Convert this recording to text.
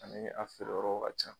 Ani a feereyɔrɔw ka ca